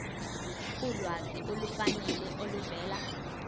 ulwazi olufanele oluvela